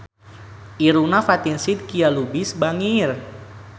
Irungna Fatin Shidqia Lubis bangir